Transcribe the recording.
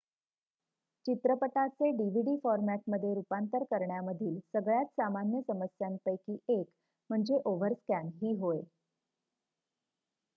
चित्रपटाचे dvd फॉरमॅटमध्ये रूपांतरण करण्यामधील सगळ्यात सामान्य समस्यांपैकी एक म्हणजे ओव्हरस्कॅन ही होय